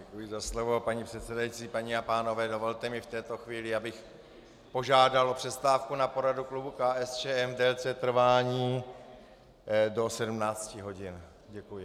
Děkuji za slovo, paní předsedající, paní a pánové, dovolte mi v této chvíli, abych požádal na přestávku na poradu klubu KSČM v délce trvání do 17 hodin. Děkuji.